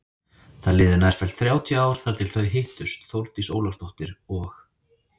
Það liðu nærfellt þrjátíu ár þar til þau hittust Þórdís Ólafsdóttir og